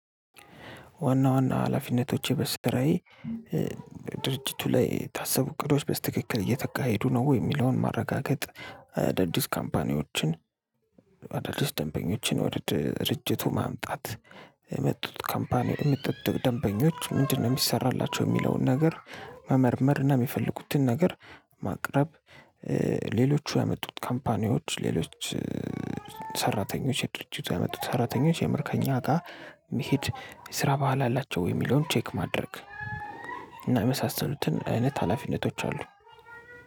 ዋና ዋና ሀላፊነቶቸ በስራዬ ድርጅቱ ላይ የታሰቡ እቅዶች በስትክክል እየተቃሄዱ ነው ወይ የሚለውን ማረጋገጥ። ደዲስ ካምፓኒዎችን ደዲስ ደንበኞችን ወድ ድርጅቱ ማምጣት። የመጡት ካምፓኒው የመጡት ደንበኞች ምንድነው? እሚሰራላቸው እሚለውን ነገር መመርመር እና እሚፈልጉትን ነገር ማቅረብ። ሌሎቹ ያመጡት ካንፓኒወች ሌሎች። ሰራተኞች ድርጂቱ ያመጣው ሰራተኞች የምር ከእኛ ጋር መሄድ የስራ ባህል አላቸው የሚለውን ቼክ ማድረግ። እና የመሳሰሉትን አይነት ሀላፊነቶች አሉ።